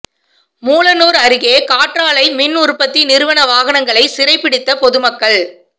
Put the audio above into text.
மூலனூா் அருகே காற்றாலை மின் உற்பத்தி நிறுவன வாகனங்களை சிறை பிடித்த பொதுமக்கள்